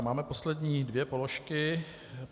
A máme poslední dvě položky.